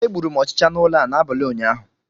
Egburu m ọchịcha n'ụlọ a n'abalị ụnyaahụ